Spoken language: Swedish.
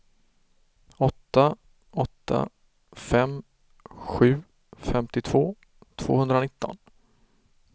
åtta åtta fem sju femtiotvå tvåhundranitton